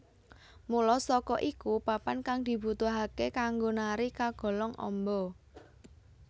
Mula saka iku papan kang dibutuhake kanggo nari kagolong amba